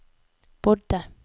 bodde